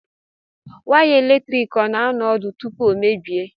Waya eletrik ọ na-anọ ọdụ tupu o emebie?